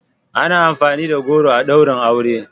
Ana amfani da goro a ɗaurin aure.